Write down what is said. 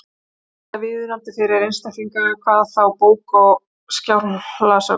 Varla viðunandi fyrir einstaklinga, hvað þá bóka- og skjalasöfn.